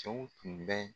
Cɛw tun bɛ